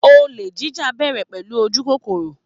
Olè jíjà ń bẹ̀rẹ̀ pẹ̀lú ojú kókóró